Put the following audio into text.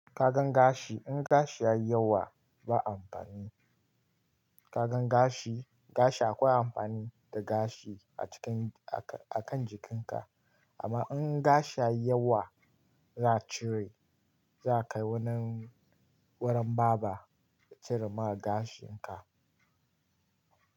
Ka gan gashi, in gashi ya yi yawa ba amfani. Ka gan gashi, gashi akwai amfani da gashi a cikin-- a kan jikinka amma in gashi ya yi yawa za'a cire. Za ka yi wanan wurin barber ya cire ma gashin ka.